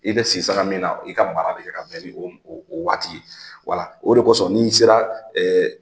I bɛ sisanga min na i ka mara be kɛ ka bɛn ni o o waati ye. Wala o de kosɔn ni sera